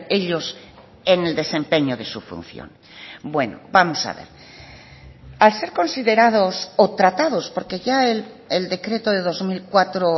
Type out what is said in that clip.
ellos en el desempeño de su función bueno vamos a ver al ser considerados o tratados porque ya el decreto de dos mil cuatro